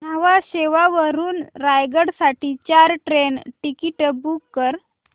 न्हावा शेवा वरून रायगड साठी चार ट्रेन टिकीट्स बुक कर